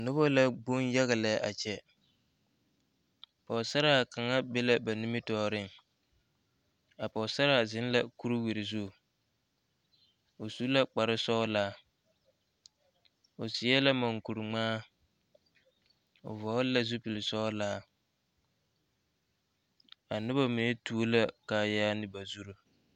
Noba la gboŋ yaga lɛ a kyɛ, pɔgesaraa kaŋa be la ba nimitɔɔreŋ a pɔgesaraa zeŋ la kuri-wiri zu o su la kpare sɔɔlaa o seɛ la munkuri ŋmaa o vɔɔle la zupili sɔɔlaa a noba mine tuo la kaayaa ne ba zuri.